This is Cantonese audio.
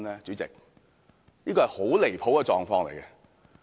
主席，這是很離譜的狀況。